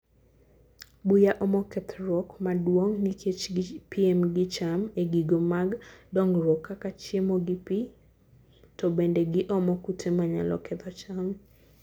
buya omo kethruok maduong nikech gi piem gi cham egigo mag dongruok kaka chiemo gi pii to bende giomo kute manyalo ketho cham.